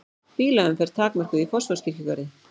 Bílaumferð takmörkuð í Fossvogskirkjugarði